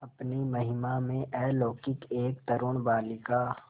अपनी महिमा में अलौकिक एक तरूण बालिका